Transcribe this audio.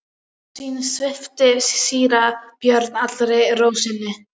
Sú sýn svipti síra Björn allri ró sinni.